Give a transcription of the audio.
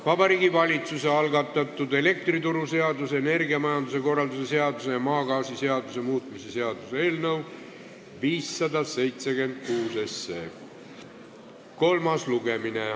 Vabariigi Valitsuse algatatud elektrituruseaduse, energiamajanduse korralduse seaduse ja maagaasiseaduse muutmise seaduse eelnõu 576 kolmas lugemine.